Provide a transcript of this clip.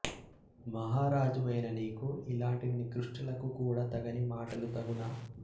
మహారాజువైన నీకు ఇలాంటి నికృష్టులకు కూడా తగని మాటలు తగునా